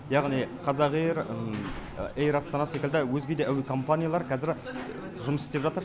яғни қазақэйр эйр астана секілді өзге де әуе компаниялар қазір жұмыс істеп жатыр